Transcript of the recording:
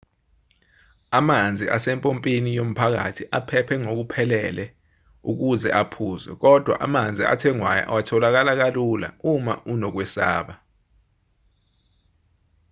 amanzi asempompini yomphakathi aphephe ngokuphelele ukuthi aphuzwe kodwa amanzi athengwayo atholakala kalula uma unokwesaba